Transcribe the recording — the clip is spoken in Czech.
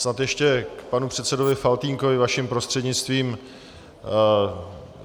Snad ještě k panu předsedovi Faltýnkovi vaším prostřednictvím.